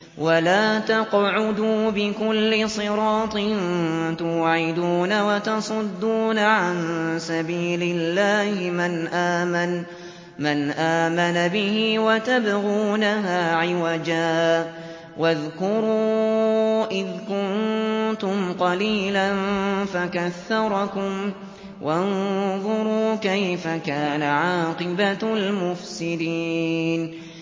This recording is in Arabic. وَلَا تَقْعُدُوا بِكُلِّ صِرَاطٍ تُوعِدُونَ وَتَصُدُّونَ عَن سَبِيلِ اللَّهِ مَنْ آمَنَ بِهِ وَتَبْغُونَهَا عِوَجًا ۚ وَاذْكُرُوا إِذْ كُنتُمْ قَلِيلًا فَكَثَّرَكُمْ ۖ وَانظُرُوا كَيْفَ كَانَ عَاقِبَةُ الْمُفْسِدِينَ